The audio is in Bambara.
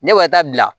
Ne b'a taa bila